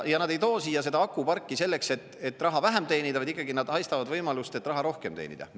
Ja nad ei too siia akuparki selleks, et raha vähem teenida, vaid nad ikkagi haistavad võimalust, et raha rohkem teenida.